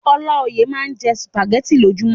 Ọláoyè máa n jẹ sùpàgẹ̀tì lojumọ.